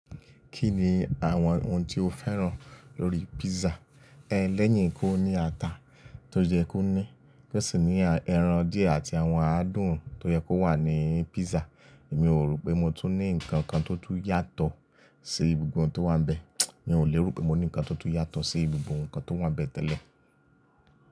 Kí ni àwọn ohun tí o féràn lórí pízzà? Ẹ lẹ́yìn kó ní ata tó yẹ kó ní, kó sì ní ẹran díẹ̀ àti àwọn adùn tó yẹ kó wà ní pízzà. Èmi ò rò pé mo tún ní nǹkan kan tó tún yàtọ̀ sí gbogbo n tó wà bẹ́ẹ̀. Mi ò lè rò pé mo ní nǹkan tó tún yàtọ̀ sí gbogbo nǹkan tó wà bẹ́ẹ̀ tẹ́lẹ̀.